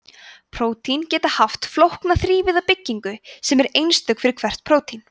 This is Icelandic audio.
prótín geta haft flókna þrívíða byggingu sem er einstök fyrir hvert prótín